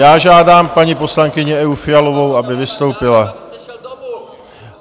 Já žádám paní poslankyni Evu Fialovou, aby vystoupila.